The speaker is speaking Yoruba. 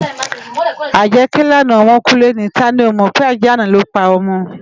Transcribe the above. Ájè ké làná òmò kú lèni táni ó mò pé ájè àná ló pá òmò